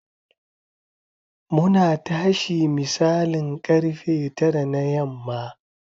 Muna tashi misalin karfe tara na yamma.